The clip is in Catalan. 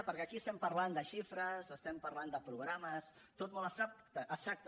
perquè aquí estem parlant de xifres estem parlant de programes tot molt abstracte